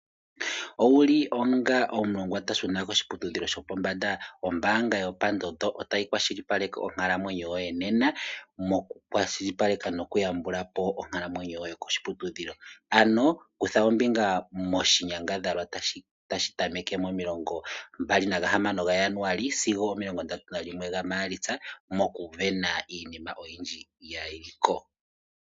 Owulu onga omulongwa tashuna koshiputudhilo shopombanda? Ombanga yopandondo otayi kwashilipaleke onkalamwenyo yoye nena moku kwashilipaleka noku yambulapo onkalamwenyo yoye koshiputudhilo. Ano kutha ombinga moshinyangadhalwa tashi tameke momilongo mbali nagahamano gaJanuali sigo omilongo ndatu nalimwe gaMaalitsa moku vena iinima iinima oyindji yili ko.